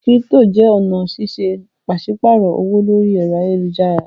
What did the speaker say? Kírípítò jẹ́ ọ̀nà ṣíṣe pàṣípààrọ̀ owó lórí ẹ̀rọ ayélujára.